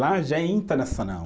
Lá já é internacional.